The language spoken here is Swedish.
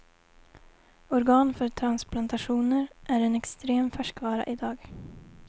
Organ för transplantationer är en extrem färskvara i dag.